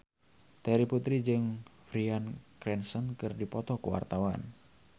Terry Putri jeung Bryan Cranston keur dipoto ku wartawan